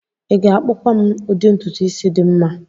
ị ga-akpụkwa m udi ntutu isi dị mma?